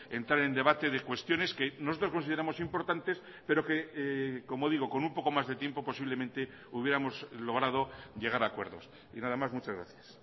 entrar en debate de cuestiones que nosotros consideramos importantes pero que como digo con un poco más de tiempo posiblemente hubiéramos logrado llegar a acuerdos y nada más muchas gracias